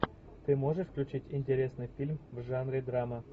ты можешь включить интересный фильм в жанре драма